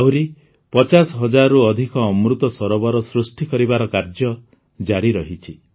ଆହୁରି ୫୦ ହଜାରରୁ ଅଧିକ ଅମୃତ ସରୋବର ସୃଷ୍ଟି କରିବାର କାର୍ଯ୍ୟ ଜାରି ରହିଛି